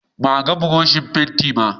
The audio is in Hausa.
Ba a gan Buroshin fentin ba.